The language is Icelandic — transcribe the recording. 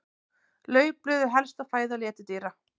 Laufblöð eru helsta fæða letidýra.